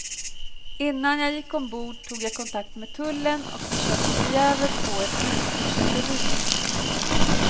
Innan jag gick ombord tog jag kontakt med tullen och försökte förgäves få ett utförselbevis.